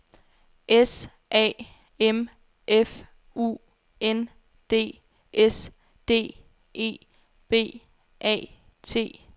S A M F U N D S D E B A T